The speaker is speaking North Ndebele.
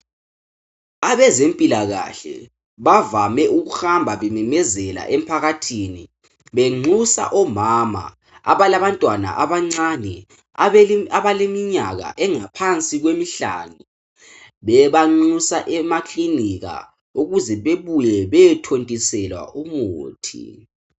Abezempilakahle bavame ukuhambe bememezela emphakathini benxusa omama abalabantwana abancane abaleminyaka engaphansi kwemihlanu bebanxusa emaclinikha ukuze bebuye bezothontiselwa umuntu